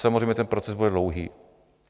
Samozřejmě ten proces bude dlouhý.